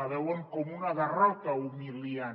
la veuen com una derrota humiliant